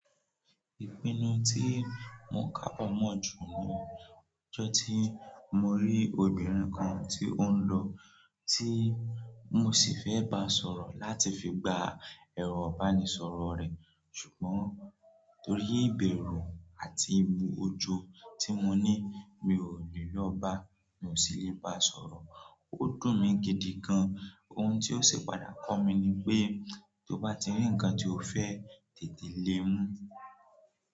Ìpinnu tí mo kàpọn mọ̀ jù ni ọjọ́ tí mo rí obìnrin kan tí ó ń lọ, tí mo sì fẹ́ bá sọ̀rọ̀ láti fi gba ẹ̀rọ ibánisoro rẹ̀. Ṣùgbọ́n torí ìbẹ̀rù àti ìbu ojo tí mo ní mi ò lè lọ bá, mi ò sì lè bá sọ̀rọ̀. Ó dùn mí gidi gan. Ohun tí ó sì padà kọ́ mi ni pé tó bá ti rí ǹnkan tí o fẹ́, tètè lé e mú.